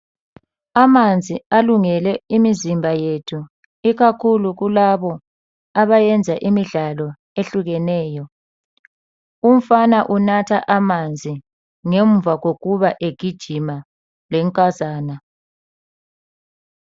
Amanzi alungele imizimba yethu ikakhulu labo abayenza imidlalo ehlukeneyo . Umfana unatha amanzi ngemva kokuba egijima lenkazana.